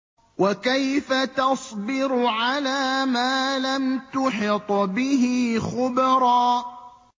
وَكَيْفَ تَصْبِرُ عَلَىٰ مَا لَمْ تُحِطْ بِهِ خُبْرًا